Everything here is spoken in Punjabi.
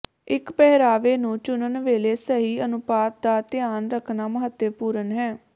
ਇੱਕ ਪਹਿਰਾਵੇ ਨੂੰ ਚੁਣਨ ਵੇਲੇ ਸਹੀ ਅਨੁਪਾਤ ਦਾ ਧਿਆਨ ਰੱਖਣਾ ਮਹੱਤਵਪੂਰਣ ਹੈ